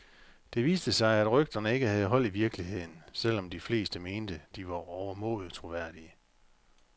Det viste sig, at rygterne ikke havde hold i virkeligheden, selv om de fleste mente, de var overmåde troværdige.